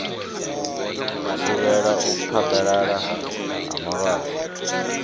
thivhela u phaḓalala ha malwadze